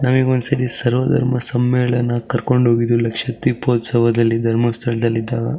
ನಾವು ಈಗ ಒಂದಸಲಿ ಸರ್ವದಳ ಸಮ್ಮೇಳನ ಕರ್ಕೊಂಡ್ ಹೋಗಿದೇವಿ ಲಕ್ಷಾದ್ ದೀಪೋತ್ಸವದಲ್ಲಿ ಧರ್ಮಸ್ಥಳದಲ್ಲಿ ಇದ್ದಾಗ.